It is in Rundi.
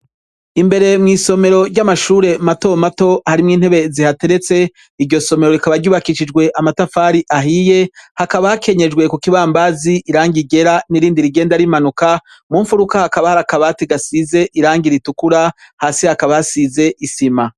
Imbere mw'isomero ry'amashure mato mato harimwo intebe zihateretse, iryo somero rikaba ryubakishijwe amatafari ahiye, hakaba hakenyejwe ku k'ibampazi irangi ryera n'irindi rigenda rimanuka, mu mfuruka hakaba hari akabati gasize irangi ritukura, hasi hakaba hasize isima.